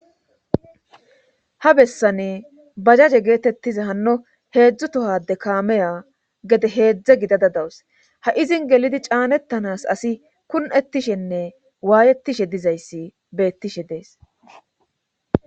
Ha bessan bajaje geetettiza hanno heedzdzu tohade kaameya gede heedzdze gidada dawus ha izin gelidi caanettanas asi kun'ettishenne waayettishe dizayssi beettishe dees.